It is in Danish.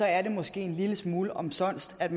er det måske en lille smule omsonst at